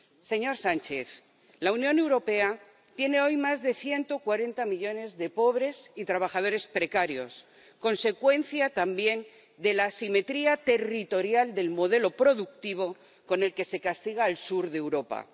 Señor Sánchez, la Unión Europea tiene hoy más de 140 millones de pobres y trabajadores precarios, consecuencia, también, de la asimetría territorial del modelo productivo con el que se castiga al sur de Europa.